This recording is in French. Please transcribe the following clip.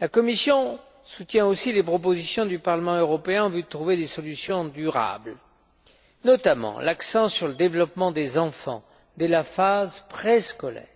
La Commission soutient aussi les propositions du Parlement européen en vue de trouver des solutions durables, notamment l'accent sur le développement des enfants dès la phase préscolaire,